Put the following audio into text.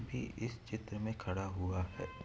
भी इस चित्र मे खड़ा हुआ हैं।